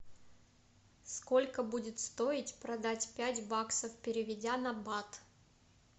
сколько будет стоить продать пять баксов переведя на бат